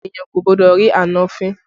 Èniyàn kò gbọ́dọ̀ rí àna rẹ̀ fín